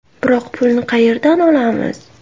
Biroq pulni qayerdan olamiz?